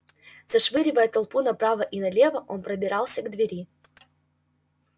расшвыривая толпу направо и налево он пробирался к двери